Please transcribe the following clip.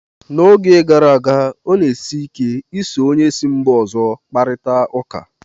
N'oge gara aga, ọ na-esi ike ị so onye si mba ọzọ kparịta ụka